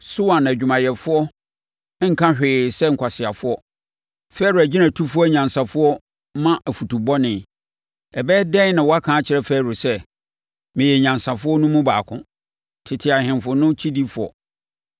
Soan adwumayɛfoɔ nka hwee sɛ nkwaseafoɔ; Farao agyinatufoɔ anyansafoɔ ma afutu bɔne. Ɛbɛyɛ dɛn na woaka akyerɛ Farao sɛ, “Meyɛ anyansafoɔ no mu baako, tete ahemfo no kyidifoɔ?”